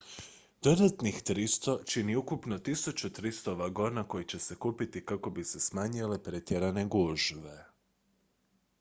dodatnih 300 čini ukupno 1300 vagona koji će se kupiti kako bi se smanjile pretjerane gužve